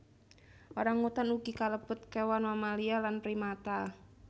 Orang utan ugi kalebet kewan mamalia lan primata